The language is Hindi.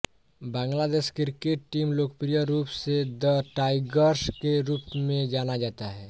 बांग्लादेश क्रिकेट टीम लोकप्रिय रूप से द टाइगर्स के रूप में जाना जाता है